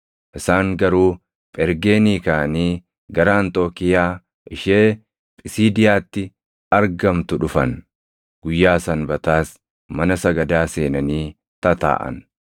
Isaan garuu Phergeenii kaʼanii gara Anxookiiyaa ishee Phisiidiyaatti argamtuu dhufan; guyyaa Sanbataas mana sagadaa seenanii tataaʼan.